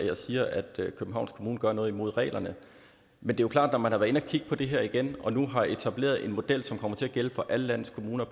at jeg siger at københavns kommune gør noget imod reglerne men det er klart at man har været inde at kigge på det her igen og nu har etableret en model som kommer til at gælde for alle landets kommuner